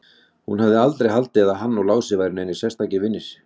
Hún hafði aldrei haldið að hann og Lási væru neinir sérstakir vinir.